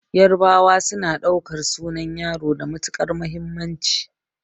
Yarabawa suna ɗaukar sunan yaro da matuƙar muhimmanci